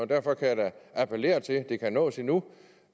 derfor kan jeg da appellere til det kan nås endnu